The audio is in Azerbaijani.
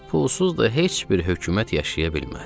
Pulsuz da heç bir hökumət yaşaya bilməz.